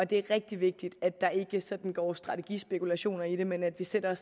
det er rigtig vigtigt at der ikke sådan går strategispekulation i det men at vi sætter